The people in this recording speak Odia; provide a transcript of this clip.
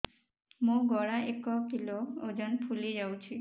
ମୋ ଗଳା ଏକ କିଲୋ ଓଜନ ଫୁଲି ଯାଉଛି